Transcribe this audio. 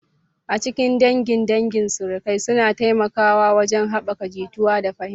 A cikin dangin dangi, surukai suna taimakawa wajen haɓaka jituwa da fahimta.